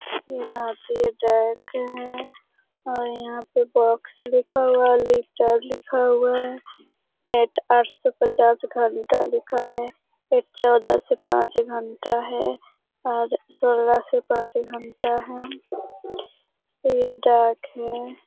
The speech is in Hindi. ये भारतीय डाक है और यहाँ पे बॉक्स लिखा हुआ है लेटर लिखा हुआ है एक आठ सौ पच्चास घंटा लिखा है एक चौदाह सौ पाँच घंटा है और सोलह सौ पाँच घंटा है ये डाक है।